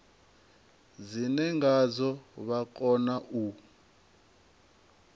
dzine ngadzo vha kona u